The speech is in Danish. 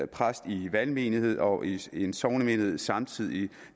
præst i en valgmenighed og i en sognemenighed samtidig